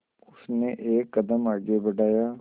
उसने एक कदम आगे बढ़ाया